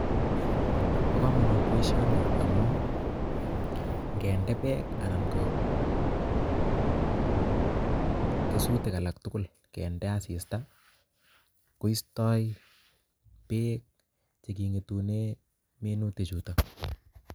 Bo komonut boishoni amun ingende bek anan ko kesutik alal tukul kende asista koistoi peek chekingetundo minutik chutok.